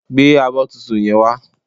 Gbé abọ́ tuntun yen wá